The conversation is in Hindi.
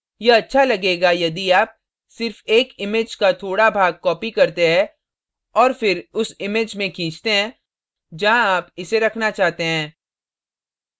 यह अच्छा लगेगा यदि आप सिर्फ एक image का थोड़ा भाग copy करते है और फिर उस image में खींचते हैं जहां आप इसे रखना चाहते हैं